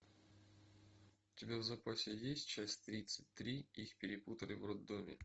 у тебя в запасе есть часть тридцать три их перепутали в роддоме